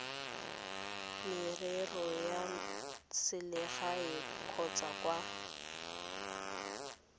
merero ya selegae kgotsa kwa